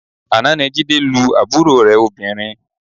Àná ni Jídé lu àbúrò rẹ̀ obìnrin